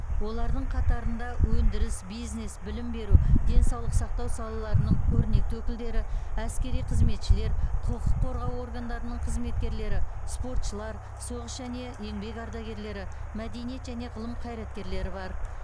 олардың қатарында өндіріс бизнес білім беру денсаулық сақтау салаларының көрнекті өкілдері әскери қызметшілер құқық қорғау органдарының қызметкерлері спортшылар соғыс және еңбек ардагерлері мәдениет және ғылым қайраткерлері бар